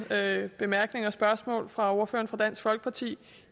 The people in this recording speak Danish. bemærkninger og spørgsmål fra ordføreren for dansk folkeparti